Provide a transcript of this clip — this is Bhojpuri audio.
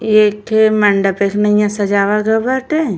एक ठे मंडप एक नैया सजावा गवा बाटे।